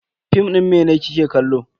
Fim din mene kike kallo?